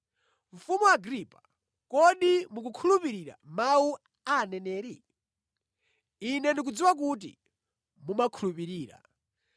Mfumu Agripa, kodi mumakhulupirira mawu a aneneri? Ine ndikudziwa kuti mumakhulupirira.”